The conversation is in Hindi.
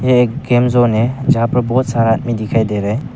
एक गेमजोन है जहां पर बहुत सारा आदमी दिखाई दे रहा है।